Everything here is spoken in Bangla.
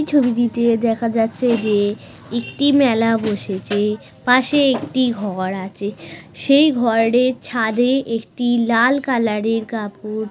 এই ছবিটিতে দেখা যাচ্ছে যে একটি মেলা বসেছে পাশে একটি ঘর আছে সেই ঘরের ছাদে একটি লাল কালার এর কাপড়।